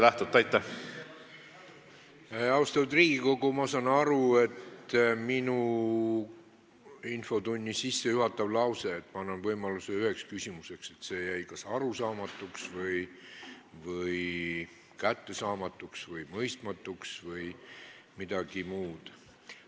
Austatud Riigikogu, ma saan aru, et infotunni sissejuhatav lause, et ma annan võimaluse ühe küsimuse esitamiseks, jäi kas arusaamatuks, kättesaamatuks, mõistmatuks või midagi muud.